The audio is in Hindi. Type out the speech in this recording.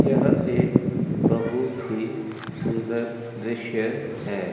यह एक बहुत ही सुंदर दृश्य है।